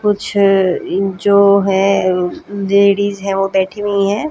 कुछ जो हैं लेडीज हैं वो बैठी हुई हैं।